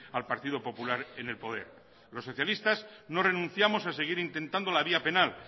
al partido popular en el poder los socialistas no renunciamos a seguir intentando la vía penal